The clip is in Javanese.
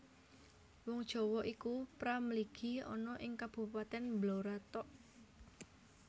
Wong Jawa iku pra mligi ana ing Kabupatèn Blora thok